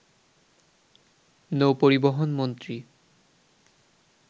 নৌ পরিবহন মন্ত্রী